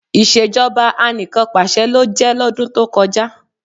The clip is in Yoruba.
Ìṣèjọba Anìkanpàṣẹ ló jẹ́ lọ́dún tó kọjá